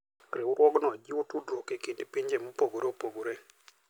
Riwruogno jiwo tudruok e kind pinje mopogore opogore.